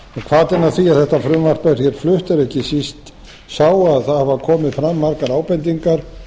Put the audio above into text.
hvatinn að því að þetta frumvarp er flutt er ekki síst sá að það hafa komið fram margar ábendingar